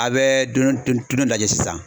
A bɛ don don don dɔ lajɛ sisan